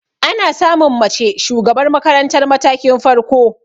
Ana samun mace shugabar makarantar matakin farko.